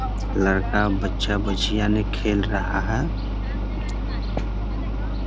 लड़का बच्चा-बच्चियाँ यानी खेल रहा है ।